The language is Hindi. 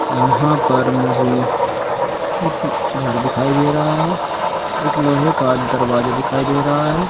यहाँ पर मुझे एक घर दिखाई दे रहा है एक लोहे का दरवाजा दिखाई दे रहा है।